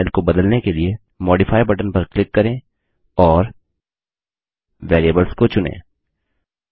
font style को बदलने के लिए मॉडिफाई बटन पर क्लिक करें और Variablesवेरियेबल्स को चुनें